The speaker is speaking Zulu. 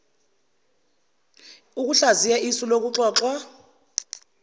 ukuhlaziya isu lokuxoxwa